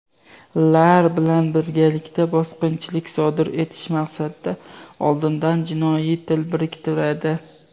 lar bilan birgalikda bosqinchilik sodir etish maqsadida oldindan jinoiy til biriktiradi.